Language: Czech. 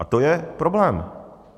A to je problém.